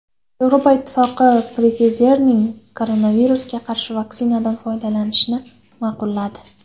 Yevropa Ittifoqi Pfizer’ning koronavirusga qarshi vaksinasidan foydalanishni ma’qulladi.